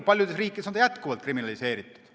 Paljudes riikides on see jätkuvalt kriminaliseeritud.